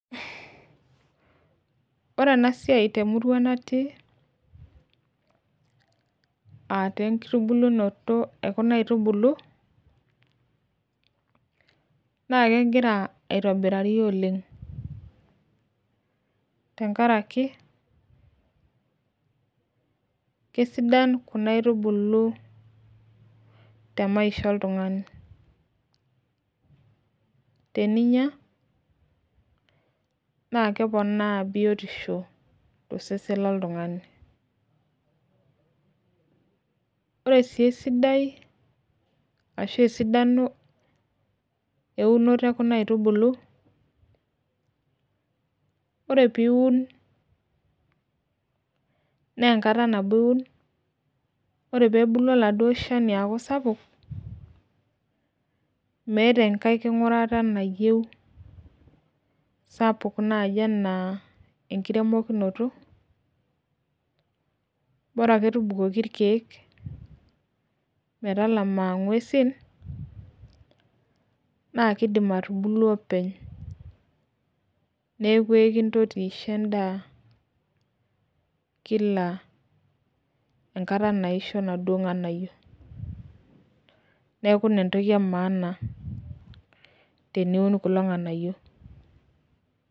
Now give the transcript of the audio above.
ore ena siai temurua natii ataa enkitubu, naa kegira aitobirari oleng' tenkaraki kisidan kunaitubulu tenkarna oltung'ani , teninyia naa keponaa biotisho tosesen lo ntung'ani ore sii esidai ashu esidano eunoto ekuna aitubulu ore pee eiun naa enkata nabo iun ore pee ebulu oladuo shani aaku sapuk meeta enkae kung'urata nayieu sapuk enaa bora ake tukoki ilkeek metalama ing'uesin neeku ekintoti aisho edaa kila enkata naishoo inaduo ng'anayio neeeku ina entoki emaana teniun kulo ng'anayio.